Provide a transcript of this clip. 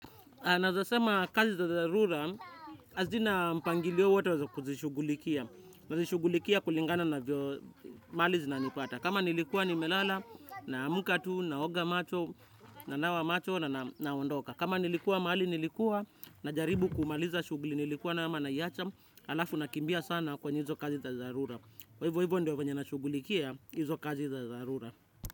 Naweza sema kazi za dharura hazina mpangilio wowote wa kuzishughulikia. Nazishugulikia kulingana na mahali zinanipata. Kama nilikua nimelala, na amka tu, na oga macho, na nawa macho, na naondoka. Kama nilikua mahali nilikua, najaribu kumaliza shughuli nilikuwa nayo ama naiacha. Alafu nakimbia sana kwenye hizo kazi za dharura. Kwa hivo hivyo ndio venye nashughulikia hizo kazi za dharura.